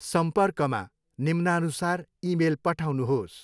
सम्पर्कमा निम्नानुसार इमेल पठाउनुहोस्।